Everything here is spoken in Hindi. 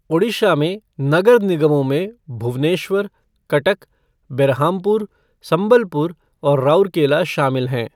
ओडिशा में नगर निगमों में भुवनेश्वर, कटक, बेरहामपुर, संबलपुर और राउरकेला शामिल हैं।